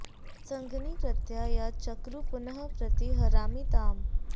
सद्म॑नि कृ॒त्यां यां च॒क्रुः पुनः॒ प्रति॑ हरामि॒ ताम्